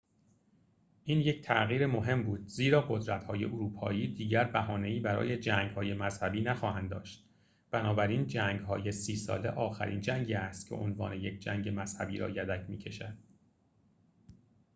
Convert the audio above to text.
این یک تغییر مهم بود زیرا قدرت‌های اروپایی دیگر بهانه‌ای برای جنگ‌های مذهبی نخواهند داشت بنابراین جنگ‌های سی ساله آخرین جنگی است که عنوان یک جنگ مذهبی را یدک می‌کشد